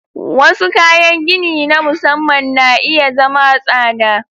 Wasu kayan gini na musamman na iya zama tsada.